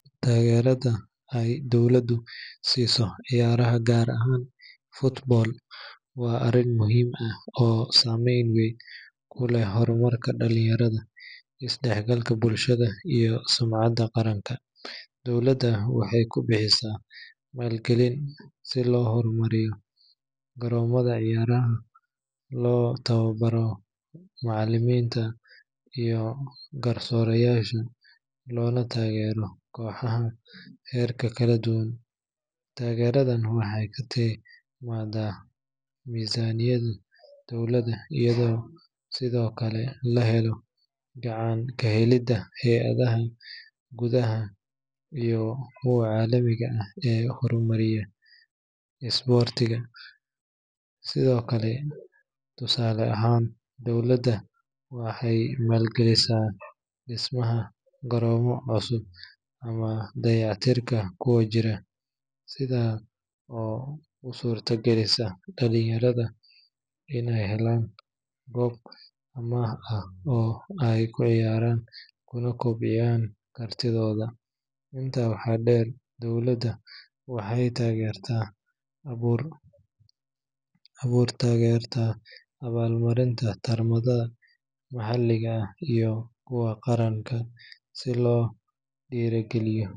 Taageerada ay dowladdu siiso ciyaaraha gaar ahaan football waa arrin muhiim ah oo saameyn weyn ku leh horumarka dhalinyarada, isdhexgalka bulshada, iyo sumcadda qaranka. Dowladda waxay ku bixisaa maalgelin si loo horumariyo garoomada ciyaaraha, loo tababaro macallimiinta iyo garsoorayaasha, loona taageero kooxaha heerarka kala duwan. Taageeradan waxay ka timaaddaa miisaaniyadda dowladda, iyadoo sidoo kale la helayo gacan ka helidda hay’adaha gudaha iyo kuwa caalamiga ah ee horumariya isboortiga. Tusaale ahaan, dowladda waxay maalgelisaa dhismaha garoomo cusub ama dayactirka kuwa jira, taas oo u suurta gelisa dhalinyarada inay helaan goob ammaan ah oo ay ku ciyaaraan kuna kobciyaan kartidooda. Intaa waxaa dheer, dowladda waxay taageertaa abaabulka tartamada maxalliga ah iyo kuwa qaran si loo dhiirrigeliyo tartanka .